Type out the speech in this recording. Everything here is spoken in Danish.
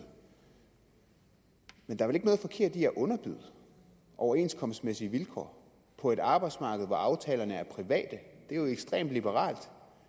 men der er vel ikke noget forkert i at underbyde overenskomstmæssige vilkår på et arbejdsmarked hvor aftalerne er private det er jo ekstremt liberalt